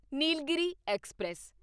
Nilgiri express